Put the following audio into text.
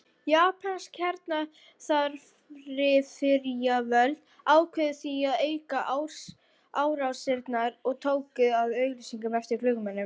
Japönsk hernaðaryfirvöld ákváðu því að auka árásirnar og tóku að auglýsa eftir flugmönnum.